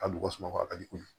A bɔgɔ suma ka di kojugu